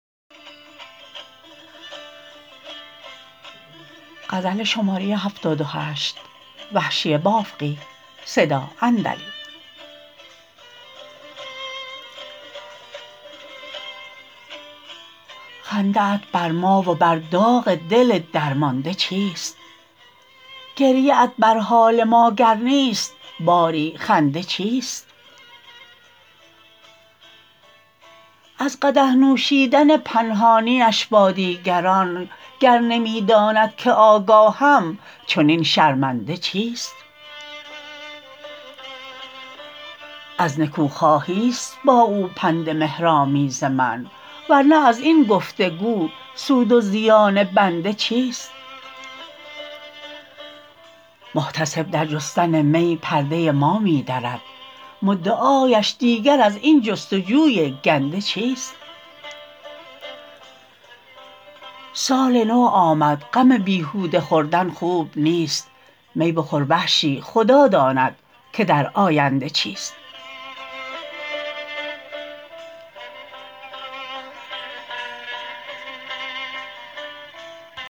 خنده ات برما و بر داغ دل درمانده چیست گریه ات بر حال ماگر نیست باری خنده چیست از قدح نوشیدن پنهانیش با دیگران گر نمی داند که آگاهم چنین شرمنده چیست از نکو خواهیست با او پند مهرآمیز من ورنه از این گفت و گو سود و زیان بنده چیست محتسب در جستن می پرده ما می درد مدعایش دیگر از این جستجوی گنده چیست سال نو آمد غم بیهوده خوردن خوب نیست می بخور وحشی خدا داند که در آینده چیست